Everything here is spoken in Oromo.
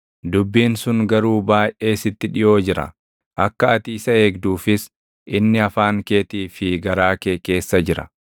Dubbiin sun garuu baayʼee sitti dhiʼoo jira; akka ati isa eegduufis inni afaan keetii fi garaa kee keessa jira.